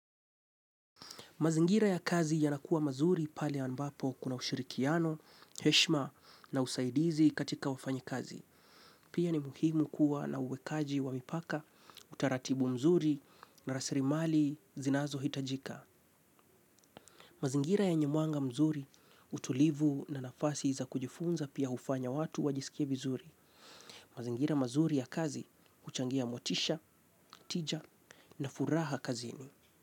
Mazingira ya kazi yanakuwa mazuri pale ambapo kuna ushirikiano, heshima na usaidizi katika wafanyakazi. Pia ni muhimu kuwa na uwekaji wa mipaka, utaratibu mzuri na rasrimali zinazo hitajika. Mazingira yenye mwanga mzuri utulivu na nafasi za kujifunza pia hufanya watu wajisikie vizuri. Mazingira mazuri ya kazi huchangia motisha, tija na furaha kazini.